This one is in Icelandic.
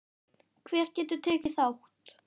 Hver getur tekið þátt?